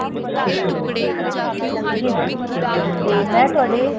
ਜੀ mam ਤੇ ਮੈਂ ਤੁਹਾਡੇ